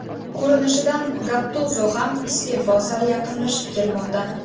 Ko‘rinishidan Gattuzo ham iste’fo sari yaqinlashib kelmoqda.